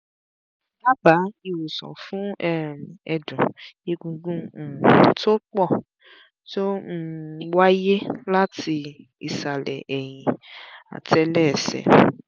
dábàá ìwòsàn fún um ẹ̀dùn-egungun um tó pọ̀ tó um ń wáyé láti ìsàlẹ̀ ẹ̀yìn àtẹ́lẹsẹ̀